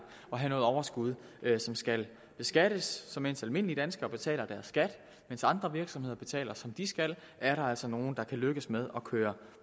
at have noget overskud som skal beskattes så mens almindelige danskere betaler deres skat og andre virksomheder betaler som de skal er der altså nogle der kan lykkes med at køre